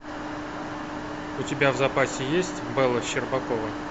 у тебя в запасе есть бэла щербакова